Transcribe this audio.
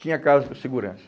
Tinha caso com o segurança.